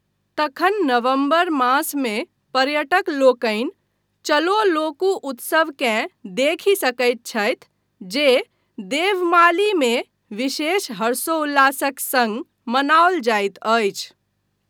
तखन नवम्बर मासमे पर्यटक लोकनि चलो लोकू उत्सवकेँ देखि सकैत छथि जे देवमालीमे विशेष हर्षोल्लासक सङ्ग मनाओल जाइत अछि।